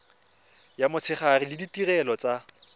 ya motshegare le ditirelo tsa